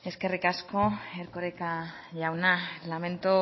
eskerrik asko erkoreka jauna lamento